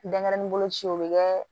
Denɲɛrɛnin bolo ci o bɛ kɛ